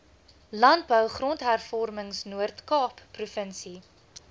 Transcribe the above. landbou grondhervormingnoordkaap provinsie